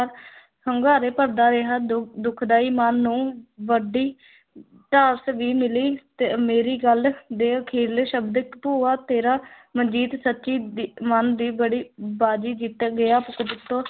ਹੁੰਗਾਰੇ ਭਰਦਾ ਰਿਹਾ ਦੋ ਦੁਖਦਾਈ ਮਨ ਨੂੰ ਵੱਡੀ ਵੀ ਮਿਲੀ ਤੇ ਮੇਰੀ ਗੱਲ ਦੇ ਅਖਰੀਲੇ ਸ਼ਬਦ ਭੂਆ ਤੇਰਾ ਮਨਜੀਤ ਸੱਚੀ ਦੀ ਮਨ ਦੀ ਬੜੀ ਬਾਜੀ ਜਿੱਤ ਗਿਆ